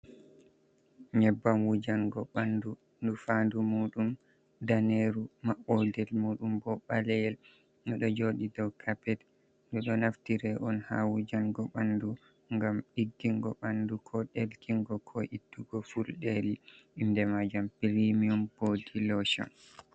Nyebbam wujango bandu nufadu mudum daneru mabodel mudum bo baleyel nodo jodi dow kappet no do naftira on ha wujango bandu gam diggingo bandu ko delkingo ko ittugo fuldeli inde majam, premium bo dilotion.